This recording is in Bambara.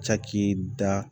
Caki da